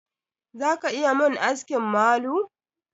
Za ka iya mun aski malu?